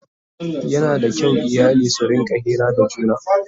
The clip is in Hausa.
Yana da kyau iyali su rinƙa Hira da juna